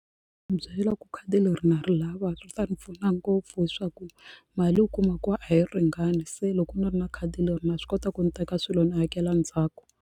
Byela ku khadi leri na ri lava ri ta ni pfuna ngopfu hi swaku mali u kuma ku a yi ringani se loko ni ri na khadi leri na swi kota ku ndzi teka swilo ni hakela ndzhaku.